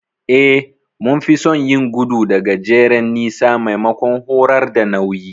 Eh, mun fi son yin gudu da gajeren nisa maimakon horar da nauyi.